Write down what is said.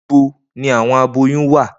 Nibo ni awọn aboyun wa?